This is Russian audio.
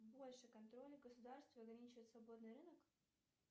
больше контроля государства ограничивает свободный рынок